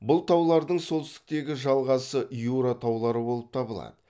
бұл таулардың солтүстіктегі жалғасы юра таулары болып табылады